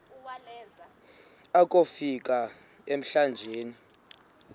akofi ka emlanjeni